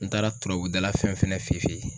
N taara turabu dala fɛn fɛnɛ fe fe yen